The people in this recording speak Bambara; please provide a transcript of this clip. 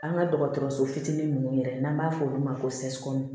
An ka dɔgɔtɔrɔso fitinin ninnu yɛrɛ n'an b'a fɔ olu ma ko sɛsipu